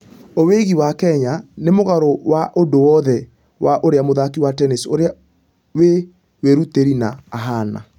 Owegi ....wa kenya nĩ mũgarũ wa ũndũ wothe wa ũrĩa mũthaki wa tennis ũrĩa wĩ wĩrutĩri na .....ahana.